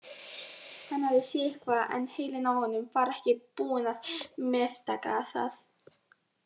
Hann hafði séð eitthvað en heilinn á honum var ekki búinn að meðtaka það.